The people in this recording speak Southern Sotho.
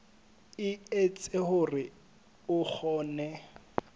e etsa hore o kgone